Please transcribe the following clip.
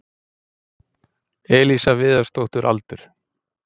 Elísa Viðarsdóttir Aldur?